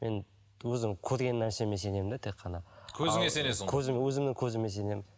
мен өзім көрген нәрсеме сенемін де тек қана көзіңе сенесің ғой көзім өзімнің көзіме сенемін